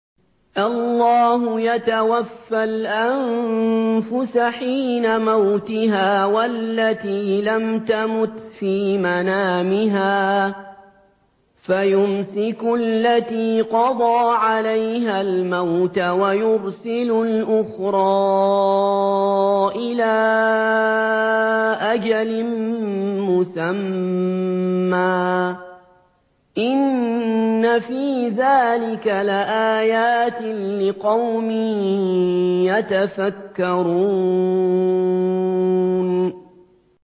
اللَّهُ يَتَوَفَّى الْأَنفُسَ حِينَ مَوْتِهَا وَالَّتِي لَمْ تَمُتْ فِي مَنَامِهَا ۖ فَيُمْسِكُ الَّتِي قَضَىٰ عَلَيْهَا الْمَوْتَ وَيُرْسِلُ الْأُخْرَىٰ إِلَىٰ أَجَلٍ مُّسَمًّى ۚ إِنَّ فِي ذَٰلِكَ لَآيَاتٍ لِّقَوْمٍ يَتَفَكَّرُونَ